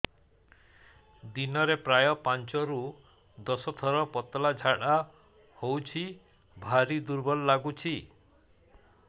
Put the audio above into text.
ଦିନରେ ପ୍ରାୟ ପାଞ୍ଚରୁ ଦଶ ଥର ପତଳା ଝାଡା ହଉଚି ଭାରି ଦୁର୍ବଳ ଲାଗୁଚି